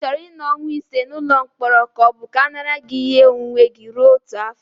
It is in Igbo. Ị chọrọ ịnọ ọnwa ise n'ụlọ mkpọrọ ka ọ bụ ka a nara gị ihe onwunwe gị rue otu afọ?